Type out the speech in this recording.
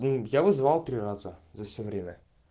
ну я вызывал три раза за все время